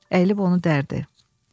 Əyilib onu dərdi.